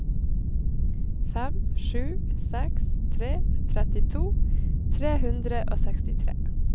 fem sju seks tre trettito tre hundre og sekstitre